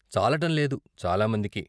చాలటంలేదు చాలా మందికి.